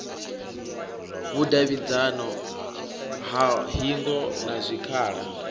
vhudavhidzano ha hingo na zwikhala